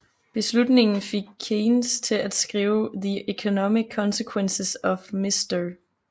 Beslutningen fik Keynes til at skrive The Economic Consequences of Mr